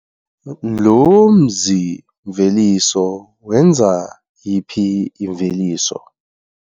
Lo mzi-mveliso wenza yiphi imveliso?